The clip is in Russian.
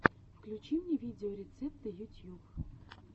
включи мне видеорецепты ютьюб